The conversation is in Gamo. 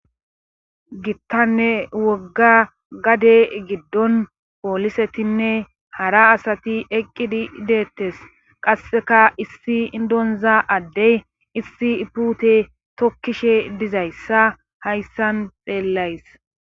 Gittanne wogga gade giddon poolisetinne hara asati eqqidi deettes qasseka issi indonza addey issi ipute tokkishe dizayssa hayssan xeellays